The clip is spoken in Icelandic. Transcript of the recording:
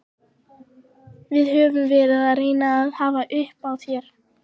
Við höfum verið að reyna að hafa upp á þér.